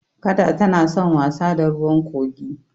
Kada tana san wasa da ruwan kogi.